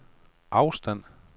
afstand